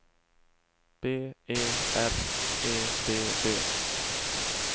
B E R E D D